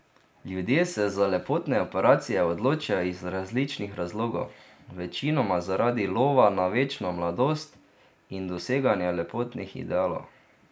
Ljudje se za lepotne operacije odločajo iz različnih razlogov, večinoma zaradi lova na večno mladost in doseganja lepotnih idealov.